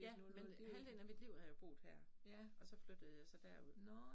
Ja men halvdelen af mit liv har jeg boet her og så flyttede jeg så derud